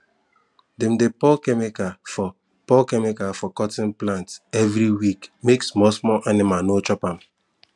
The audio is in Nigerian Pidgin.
dem dey pour chemical for pour chemical for cotton plant every week make small small animal no chop am